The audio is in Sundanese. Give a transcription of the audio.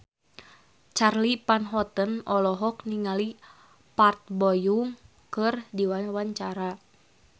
Charly Van Houten olohok ningali Park Bo Yung keur diwawancara